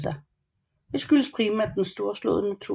Det skyldes primært den storslåede natur